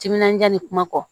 Timinandiya ni kuma kɔ